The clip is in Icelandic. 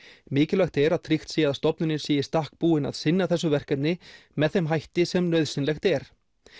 mikilvægt er að tryggt sé að stofnunin sé í stakk búin að sinna þessu verkefni með þeim hætti sem nauðsynlegt er